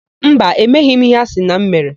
Mba, emeghị m íhé a sị na m mere.